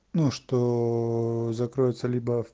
ну что закроется либо